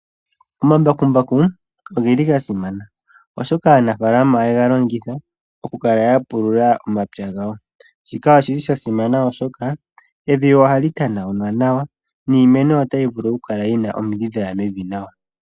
Omambakumbaku ogeli ga simana, oshoka aanafala ohaya ye ga longitha oku kala ya pulula omapya gawo. Shika oshili sha simana oshoka evi ohali tanaulwa nawa, niimeno otayi vulu oku kala yina omidhi dhaya mevi nawa.